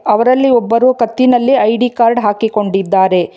ಅವರಲ್ಲಿ ಒಬ್ಬರು ಕತ್ತಿನಲ್ಲಿ ಐ_ಡಿ ಕಾರ್ಡ್ ಹಾಕಿಕೊಂಡಿದ್ದಾರೆ.